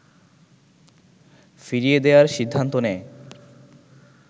ফিরিয়ে দেয়ার সিদ্ধান্ত নেয়